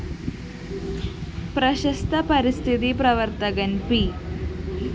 പ്രശസ്ത പരിസ്ഥിതി പ്രവര്‍ത്തകന്‍ പി